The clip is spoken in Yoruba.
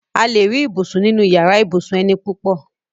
A lè rí ibùsùn nínu yàrá ibùsùn eni púpọ̀